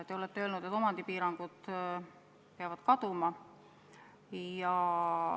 Te olete öelnud, et omandipiirangud peavad kaduma.